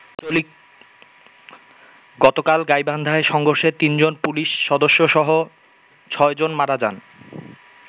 গতকাল গাইবান্ধায় সংঘর্ষে তিনজন পুলিশ সদস্য সহ ছয় জন মারা যান।